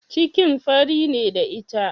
Cikin fari ne da ita?